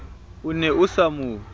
o ne o sa mo